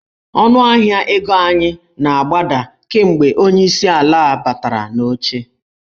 Ọnụahịa ego anyị na-agbada kemgbe onyeisi ala a batara n'oche.